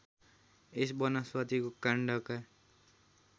यस वनस्पतिको काण्डका